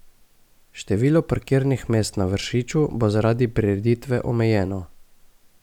Število parkirnih mest na Vršiču bo zaradi prireditve omejeno.